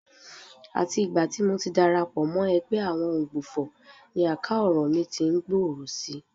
Àti ìgbà tí mo ti darapọ̀ mọ́ ẹgbẹ́ àwọn Òǹgbufọ̀ ni àká ọ̀rọ̀ mí tí ń gbòòrò si